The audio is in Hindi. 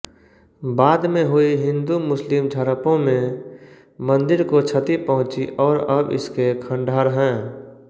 बाद में हुई हिन्दूमुस्लिम झड़पों में मंदिर को क्षति पहुँची और अब इसके खंडहर हैं